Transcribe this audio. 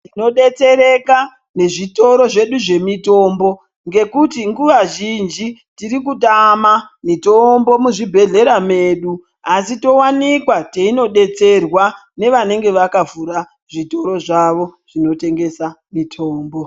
Tinodetsereka nezvitoro zvedu zvemitombo ngekuti nguwa zhinji tirikutama mitombo muzvibhehlera medu asi towanikwa teinodetserwa nevanenge vakavhura zvitoro zvavo zvinotengesa mitombo.